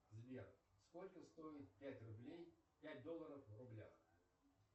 сбер сколько стоит пять рублей пять долларов в рублях